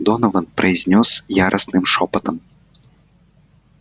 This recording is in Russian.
донован произнёс яростным шёпотом